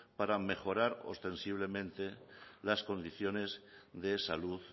para mejorar ostensiblemente las condiciones de salud